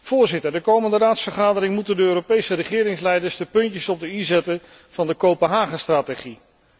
Voorzitter, de komende Raadsvergadering moeten de Europese regeringsleiders de puntjes op de i zetten van de Kopenhagenstrategie.